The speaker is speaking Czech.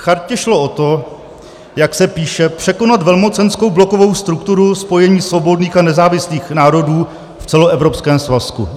Chartě šlo o to, jak se píše, "překonat velmocenskou blokovou strukturu spojení svobodných a nezávislých národů v celoevropském svazku".